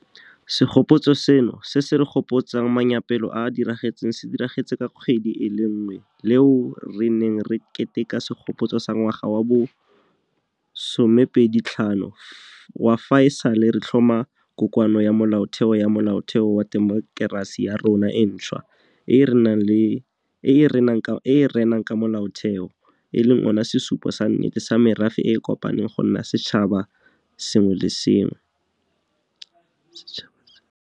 Segopotso seno se se re gopotsang manyaapelo a a diragetseng se diragetse ka kgwedi e le nngwe le eo re neng re keteka segopotso sa ngwaga wa bo 25 wa fa e sale re tlhoma Kokoano ya Molaotheo ya Molaotheo wa temokerasi ya rona e ntšhwa e e renang ka Molaotheo, e leng ona sesupo sa nnete sa merafe e e kopaneng go nna setšhaba se le sengwe.